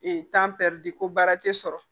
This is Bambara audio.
de ko baara te sɔrɔ